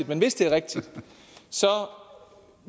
men hvis det er rigtigt